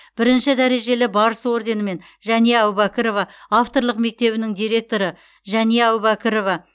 бірінші дәрежелі барыс орденімен жәния әубәкірова авторлық мектебінің директоры жәния әубәкірова